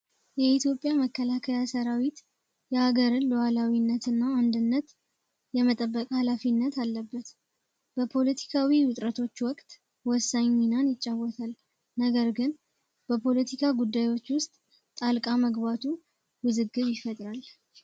የኢትዮጵያ መከለከያ ሰራዊት የሀገርን ለኋላዊነት እና አንድነት የመጠበቅ ኃላፊነት አለበት በፖለቲካዊ ውጥረቶች ወቅት ወሳኙናን ይጫወታል። ነገር ግን በፖለቲካ ጉዳዮች ውስጥ ጣልቃ መግባቱ ውዝግጅ ይፈጥራል።